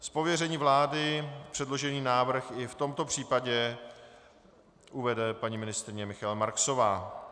Z pověření vlády předložený návrh i v tomto případě uvede paní ministryně Michaela Marksová.